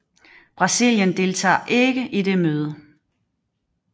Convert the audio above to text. Brasilien deltager ikke i det møde